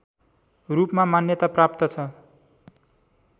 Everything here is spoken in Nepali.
रूपमा मान्यता प्राप्त छ